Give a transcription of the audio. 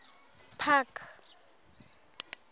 park